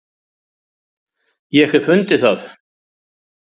Ég hef fundið það!